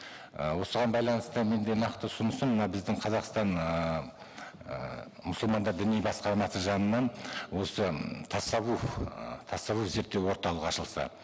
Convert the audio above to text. і осыған байланысты менде нақты ұсынысым мына біздің қазақстан ыыы мұсылмандар діни басқармасы жанынан осы тассавух ы тассавух зерттеу орталығы ашылса